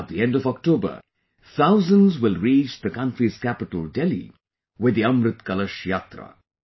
At the end of October, thousands will reach the country's capital Delhi with the Amrit Kalash Yatra